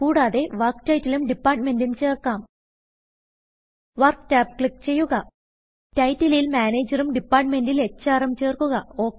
കുടാതെ work title ഉം Departmentഉം ചേർക്കാം Workടാബ് ക്ലിക്ക് ചെയ്യുക Titleൽ Managerഉം Departmentൽ ഹ്ര് ഉം ചേർക്കുക